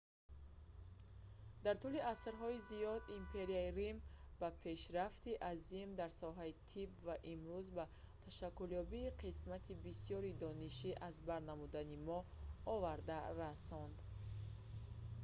дар тӯли асрҳои зиёд империяи рим ба пешрафти азим дар соҳаи тиб ва имрӯз ба ташаккулёбии қисмати бисёри дониши аз бар намудани мо оварда расонд